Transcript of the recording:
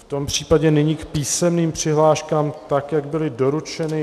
V tom případě nyní k písemným přihláškám, tak jak byly doručeny.